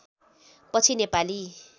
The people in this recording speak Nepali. पछि नेपाली